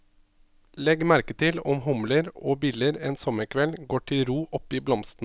Legg merke til om humler og biller en sommerkveld går til ro oppi blomstene.